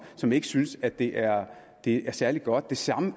som ikke synes at det er det er særlig godt det samme